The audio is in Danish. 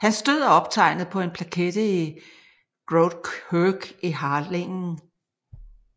Hans død er optegnet på en plakette i Grote Kerk i Harlingen